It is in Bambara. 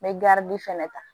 N bɛ fɛnɛ ta